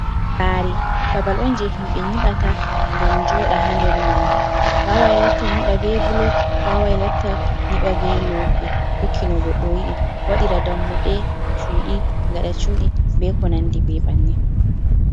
Sare babal on je himɓɓe nyiɓata ngam joɗa ha nder maji, wawai latta nyiɓa be bulok wawai latta nyiɓa be lope tokki no Goɗɗo yiɗi waɗira dammuɗe cuɗi gaɗa cuɗi be ko nandi be banin.